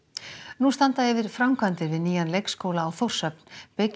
nú standa yfir framkvæmdir við nýjan leikskóla á Þórshöfn bygging